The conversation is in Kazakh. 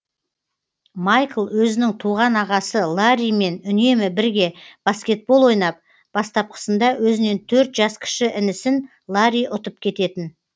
майкл өзінің туған ағасы ларримен үнемі бірге баскетбол ойнап бастапқысында өзінен төрт жас кіші інісін ларри ұтып кететін